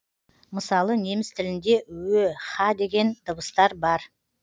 мысалы неміс тілінде ө һ деген дыбыстар бар